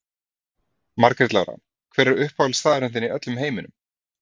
Margrét Lára Hver er uppáhaldsstaðurinn þinn í öllum heiminum?